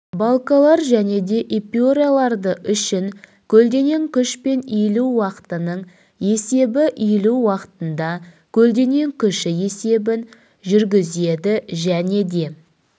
балкалар және де эпюраларды үшін көлденең күш пен иілу уақытының есебі иілу уақытында көлденең күші есебін жүргізеді және де